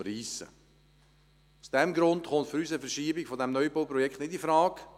Aus diesen Gründen kommt für uns eine Verschiebung dieses Neubauprojekts nicht infrage.